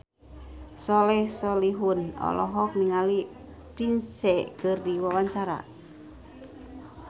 Soleh Solihun olohok ningali Prince keur diwawancara